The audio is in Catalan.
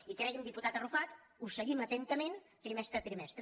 i cregui’m diputat arrufat ho seguim atentament trimestre a trimestre